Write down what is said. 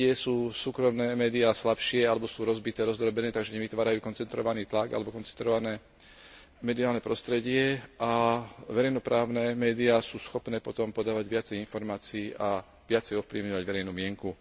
Niekde sú súkromné médiá slabšie alebo sú rozbité, rozdrobené, takže nevytvárajú koncentrovaný tlak alebo koncentrované mediálne prostredie, a verejnoprávne médiá sú schopné potom podávať viacej informácií a viacej ovplyvňovať verejnú mienku.